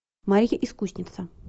марья искусница